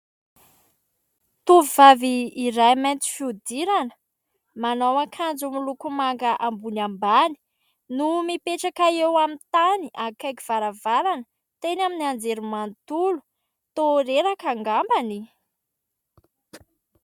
Tovovavy iray mainty fihodirana manao akanjo miloko manga ambony ambany no mipetraka eo amin'ny tany akaiky varavarana, teny amin'ny anjerimanontolo. Toa reraka angamba?